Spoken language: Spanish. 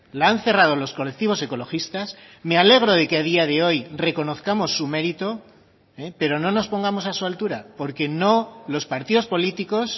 la han cerrado los colectivos ecologistas me alegro de que a día de hoy reconozcamos su mérito pero no nos pongamos a su altura porque no los partidos políticos